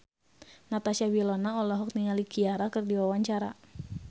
Natasha Wilona olohok ningali Ciara keur diwawancara